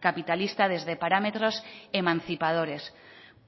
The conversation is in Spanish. capitalista desde parámetros emancipadores